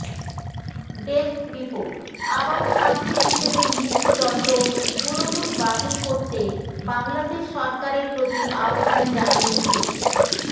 desk report আবারও শাস্তি হিসেবে মৃত্যুদণ্ড পুরোপুরি বাতিল করতে বাংলাদেশ সরকারের প্রতি আহ্বান জানিয়েছে